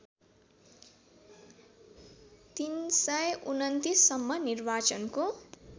३२९ सम्म निर्वाचनको